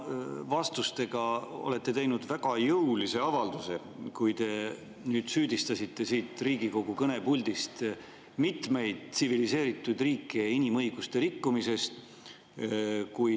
Te oma vastustega tegite väga jõulise avalduse, kui te süüdistasite siit Riigikogu kõnepuldist mitmeid tsiviliseeritud riike inimõiguste rikkumises.